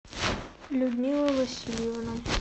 людмила васильевна